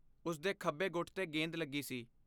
ਉਸ ਦੇ ਖੱਬੇ ਗੁੱਟ 'ਤੇ ਗੇਂਦ ਲੱਗੀ ਸੀ।